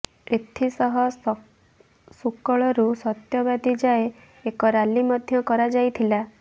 ଏଥିସହ ସୁକଳରୁ ସତ୍ୟବାଦୀ ଯାଏ ଏକ ରାଲି ମଧ୍ୟ କରାଯାଇଥିଲା